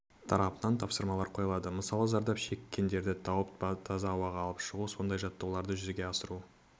тарапынан тапсырмалар қойылады мысалы зардап шеккендерді тауып таза ауаға алып шығу осындай жаттығуларды жүзеге асыру